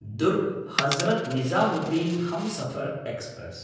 दुर्ग्–हजरत् Nizamuddin Humsafar express